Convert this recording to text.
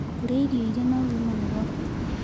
Kũrĩa irio ĩrĩ na ũgima nĩ gwa bata